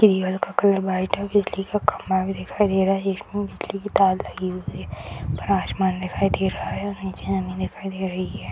Cable का colour white है बिजली का खंभा भी दिखाई दे रहा है एक ओर बिजली की तार लगी हुई है ऊपर आसमान दिखाई दे रहा है नीचे जमीन दिखाई दे रही है।